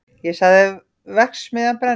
Ég sagði: verksmiðjan brennur!